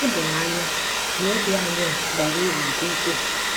O doro anya na obi anyị a bara uru nke ukwuu.